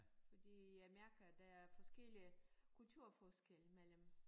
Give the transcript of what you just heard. Fordi Amerika der er forskellige kulturforskelle mellem